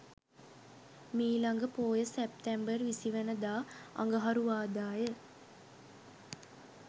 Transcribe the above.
මීළඟ පෝය සැප්තැම්බර් 20 වන දා අඟහරුවාදා ය.